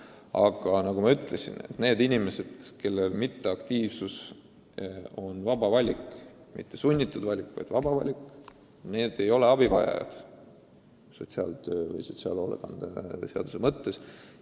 Aga nagu ma ka ütlesin, need inimesed, kelle passiivsus on nende vaba valik, ei ole sotsiaalhoolekande seaduse mõttes abivajajad.